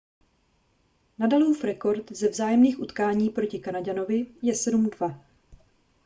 nadalův rekord ze vzájemných utkání proti kanaďanovi je 7-2